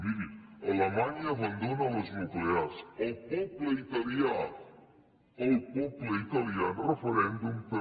miri alemanya abandona les nuclears el poble italià el poble italià en referèndum també